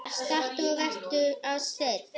Stattu og vertu að steini